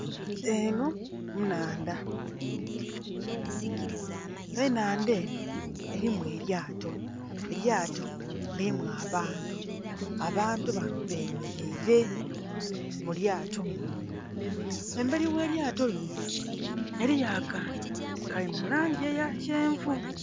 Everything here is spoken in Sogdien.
Eno nnhandha ennhandha eno elimu elyato elyato lilimu abantu, abantu bano bemeleile mu lyato munho. Embeli ogh'elyato lino eliyo akantu kali mu langi eya kyenvu